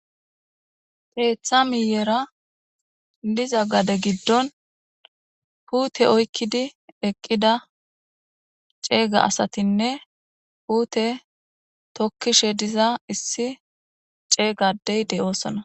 teeththa miyera diza gade giddon huute oykkidi eqqida ceega asatinne huute tokkishe diza issi ceegadey de7oosona